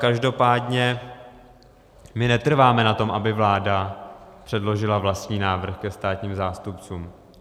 Každopádně my netrváme na tom, aby vláda předložila vlastní návrh ke státním zástupcům.